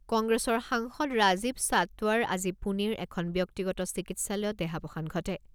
কংগ্ৰেছৰ সাংসদ ৰাজীৱ সাটৱৰ আজি পুণেৰ এখন ব্যক্তিগত চিকিৎসালয়ত দেহাৱসান ঘটে।